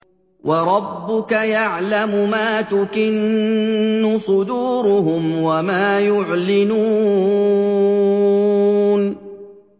وَرَبُّكَ يَعْلَمُ مَا تُكِنُّ صُدُورُهُمْ وَمَا يُعْلِنُونَ